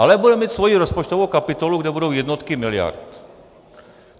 Ale bude mít svoji rozpočtovou kapitolu, kde budou jednotky miliard.